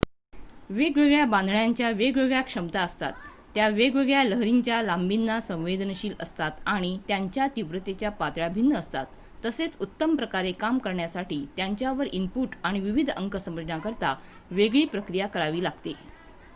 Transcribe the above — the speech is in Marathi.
वेगवेगळ्या बांधण्यांच्या वेगवेगळ्या क्षमता असतात त्या वेगवेगळ्या लहरींच्या लांबीना संवेदनशील असतात आणि त्यांच्या तीव्रतेच्या पातळ्या भिन्न असतात तसेच उत्तमप्रकारे काम करण्यासाठी त्यांच्यावर इनपुट आणि विविध अंक समजण्याकरिता वेगळी प्रक्रिया करावी लागते